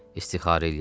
İstixarə eləyərlər.